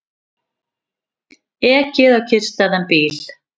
Ekið á kyrrstæðan bíl